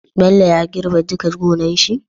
Bello ya girbe duka gonar shi?